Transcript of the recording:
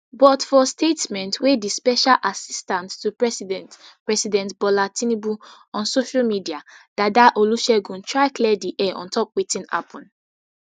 but for statement wey di special assistant to president president bola tinubu on social media dada olusegun try clear di air on top wetin happun